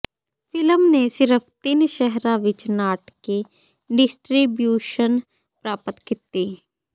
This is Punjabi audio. ਫਿਲਮ ਨੇ ਸਿਰਫ ਤਿੰਨ ਸ਼ਹਿਰਾਂ ਵਿਚ ਨਾਟਕੀ ਡਿਸਟ੍ਰੀਬਿਊਸ਼ਨ ਪ੍ਰਾਪਤ ਕੀਤੀ